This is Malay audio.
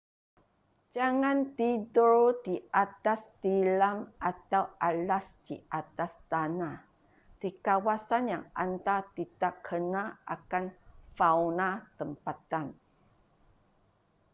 jangan tidur di atas tilam atau alas di atas tanah di kawasan yang anda tidakkenal akan fauna tempatan